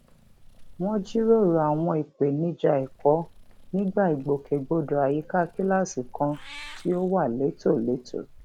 wọn jíròrò àwọn ìpèníjà ẹkọ nígbà ìgbòkègbodò àyíká kíláàsì kan tí ó wà létòlétò